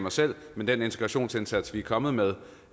mig selv men den integrationsindsats vi er kommet med